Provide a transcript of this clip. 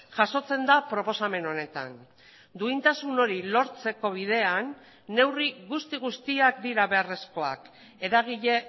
jasotzen da proposamen honetan duintasun hori lortzeko bidean neurri guzti guztiak dira beharrezkoak eragile